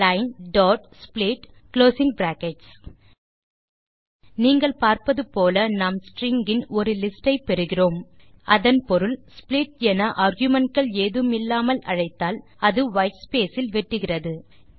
linesplit நீங்கள் பார்ப்பது போல நாம் ஸ்ட்ரிங்ஸ் இன் ஒரு லிஸ்டை பெறுகிறோம் அதன் பொருள் ஸ்ப்ளிட் என ஆர்குமென்ட் கள் ஏதும் இல்லாமல் அழைத்தால் அது வைட்ஸ்பேஸ் இல் வெட்டுகிறது